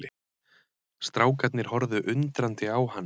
Strákarnir horfðu undrandi á hann.